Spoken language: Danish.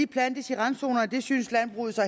plantes i randzoner og det synes landbruget så